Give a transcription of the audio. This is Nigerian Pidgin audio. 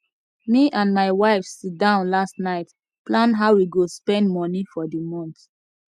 me and my wife sit down last night plan how we go spend money for the month